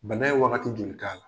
Bana ye wagati joli k'a la?